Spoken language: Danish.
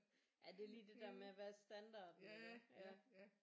Ja det er lige det der med hvad er standarden iggå ja